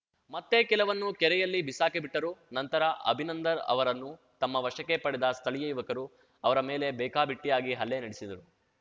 ಮತ್ತೆ ಕೆಲವನ್ನು ಕೆರೆಯಲ್ಲಿ ಬಿಸಾಕಿಬಿಟ್ಟರು ನಂತರ ಅಭಿನಂದನ್‌ ಅವರನ್ನು ತಮ್ಮ ವಶಕ್ಕೆ ಪಡೆದ ಸ್ಥಳೀಯ ಯುವಕರು ಅವರ ಮೇಲೆ ಬೇಕಾಬಿಟ್ಟಿಯಾಗಿ ಹಲ್ಲೆ ನಡೆಸಿದರು